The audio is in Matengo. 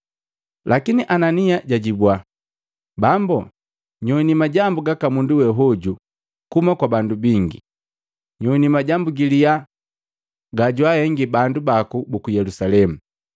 Lakini Anania jajibwa, “Bambo, nyoini majambu gaka mundu we hoju kuhuma kwa bandu bingi, nyowini majambu giliya gajwaahengi bandu baku buku Yelusalemu.